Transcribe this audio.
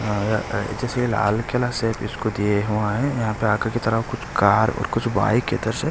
जैसे कि लाल कलर सी स्कूटी है यहाँ पर आगे की तरफ कुछ कार और कुछ बाइक ।